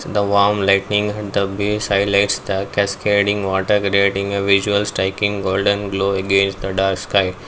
the warm lightning and the views highlights the cascading water grading a visual striking golden glow against the dark sky.